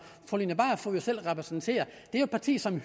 fru line barfod repræsenterer er et parti som